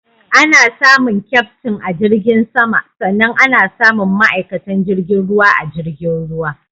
Ana samun Kyaftin a jirgin sama sannan ana samun ma'aikatan jirgin ruwa a jirgin ruwa.